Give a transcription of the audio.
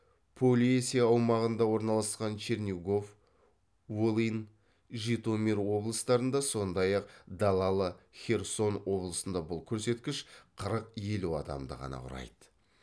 полесье аумағында орналасқан чернигов волынь житомир облыстарында сондай ақ далалы херсон облысында бұл көрсеткіш қырық елу адамды ғана құрайды